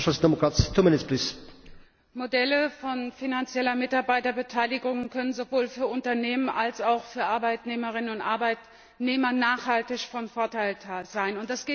Herr Präsident! Modelle von finanzieller Mitarbeiterbeteiligung können sowohl für Unternehmen als auch für Arbeitnehmerinnen und Arbeitnehmer nachhaltig von Vorteil sein.